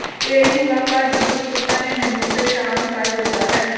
ਤੇਰੀ ਮੁਲਾਕਾਤ ਦੀ ਉਤਸੁਕਤਾ ਨੇ ਮੈਨੂੰ ਪ੍ਰੇਸ਼ਾਨ ਕਰ ਦਿੱਤਾ ਹੈ